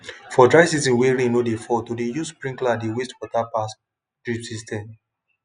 for dry season when rain no dey fall to dey use sprinkler dey waste water pass drip system